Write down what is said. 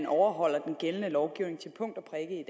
overholder den gældende lovgivning til punkt